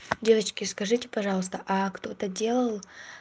девочки скажите пожалуйста кто-то делал